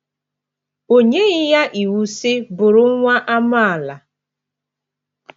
O nyeghị ya iwu, sị, “ Bụrụ nwa amaala! ”